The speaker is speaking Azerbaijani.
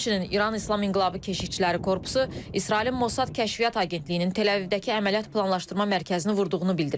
Həmçinin İran İslam İnqilabı Keşikçiləri Korpusu İsrailin Mossad Kəşfiyyat Agentliyinin Tel-Əvivdəki əməliyyat planlaşdırma mərkəzini vurduğunu bildirib.